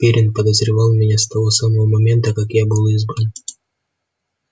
пиренн подозревал меня с того самого момента как я был избран